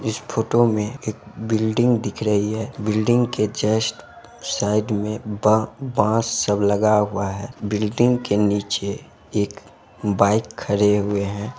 इस photo में एक building दिख रही है बिल्डिंग के जस्ट साइड में ब-बांस सब लगा हुआ है बिल्डिंग के नीचे एक बाइक खड़े हुए हैं।